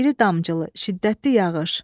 İri damcılı, şiddətli yağış.